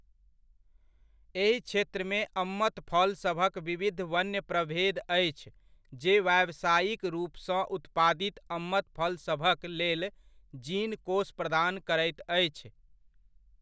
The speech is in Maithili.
एहि क्षेत्रमे अमत फलसभक विविध वन्य प्रभेद अछि जे व्यावसायिक रूपसँ उत्पादित अमत फलसभक लेल जीन कोष प्रदान करैत अछि।